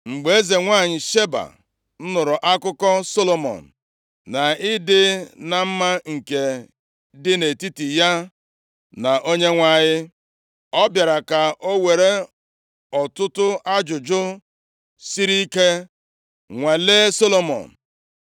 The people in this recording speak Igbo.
Mgbe eze nwanyị Sheba nụrụ akụkọ Solomọn, na ịdị na mma nke dị nʼetiti ya na Onyenwe anyị, ọ bịara ka o were ọtụtụ ajụjụ siri ike nwalee Solomọn. + 10:1 Maka ịnwapụta amamihe o nwere